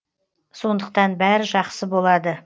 сондықтан бәрі жақсы болады